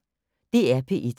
DR P1